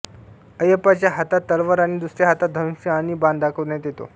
अय्यापाच्या हातात तलवार आणि दुसऱ्या हातात धनुष्य आणि बाण दाखविण्यात येतो